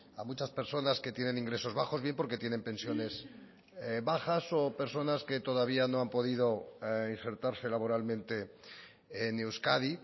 a muchas personas que tienen ingresos bajos bien porque tienen pensiones bajas o personas que todavía no han podido insertarse laboralmente en euskadi